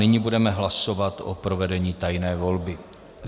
Nyní budeme hlasovat o provedení tajné volby.